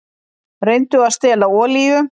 Reyndu að stela olíu